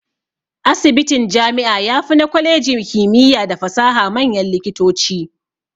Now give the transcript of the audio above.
Asibitin jami'a yafi na kwalejin kimiya da fasaha manyan likitoci.